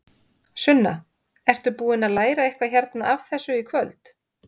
Sunna: Ertu búinn að læra eitthvað hérna af þessu í kvöld?